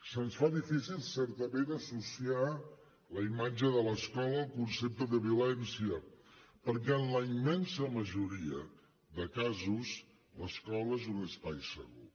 se’ns fa difícil certament associar la imatge de l’escola al concepte de violència perquè en la immensa majoria de casos l’escola és un espai segur